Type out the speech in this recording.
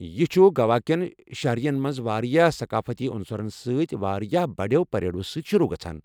یہِ چھُ گوا كین شہرن مَنٛز واریاہ ثقافٔتی عُنصَرن سۭتۍ واریاہ بڑٮ۪و پریڈو سۭتۍ شروع گژھان۔